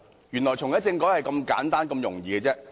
原來，重啟政改只是這樣簡單，這樣容易。